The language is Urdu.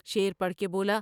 شعر پڑھ کے بولا ۔